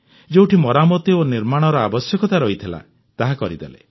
ଯେଉଁଠି ମରାମତି ଓ ନିର୍ମାଣର ଆବଶ୍ୟକତା ରହିଥିଲା ତାହା କରିଦେଲେ